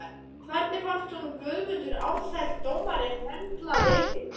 Hvernig fannst honum Guðmundur Ársæll dómari höndla leikinn?